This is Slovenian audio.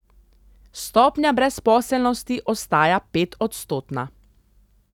Stopnja brezposelnosti ostaja petodstotna.